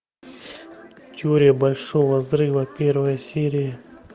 теория большого взрыва первая серия